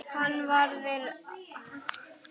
Hann var við Ármann.